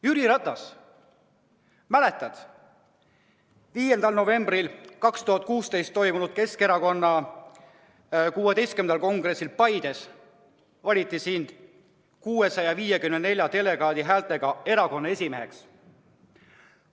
Jüri Ratas, kas mäletad, 5. novembril 2016 toimunud Keskerakonna 16. kongressil Paides valiti sind 654 delegaadi häältega erakonna esimeheks?